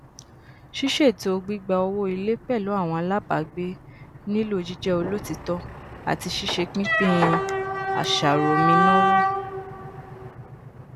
ṣísètò gbígba owó ilé pẹlú àwọn alábàágbé nílò jíjẹ olotiitọ ati sise pínpín àṣàròmìnáwó